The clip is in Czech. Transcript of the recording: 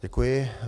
Děkuji.